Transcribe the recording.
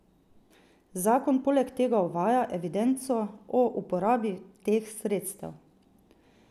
Zakon poleg tega uvaja evidenco o uporabi teh sredstev.